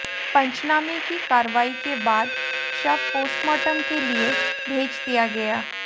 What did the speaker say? पंचनामे की कार्रवाई के बाद शव पोस्टमार्टम के लिए भेज दिया गया